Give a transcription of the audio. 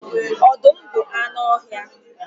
Ọdụm bụ anụ ọhịa.